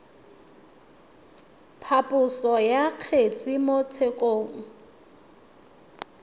phaposo ya kgetse mo tshekong